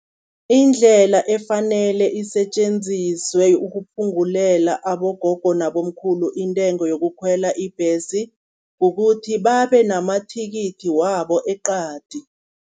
Indlela efanele isetjenziswe ukuphungulela abogogo nabomkhulu, intengo yokukhwela ibhesi, kukuthi babe namathikithi wabo eqadi.